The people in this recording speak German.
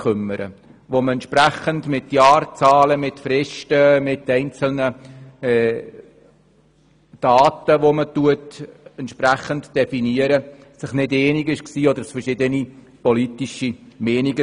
Dabei geht es um Jahrzahlen, Fristen und einzelne Daten, zu denen man sich aufgrund verschiedener politischer Meinungen nicht einig war.